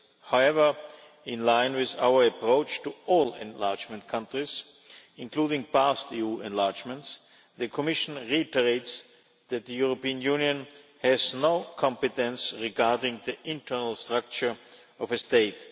However, in line with our approach to all enlargement countries, including past EU enlargements, the Commission reiterates that the European Union has no competence regarding the internal structure of a state.